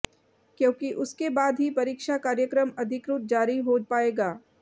क्योंकि उसके बाद ही परीक्षा कार्यक्रम अधिकृत जारी हो पाएगा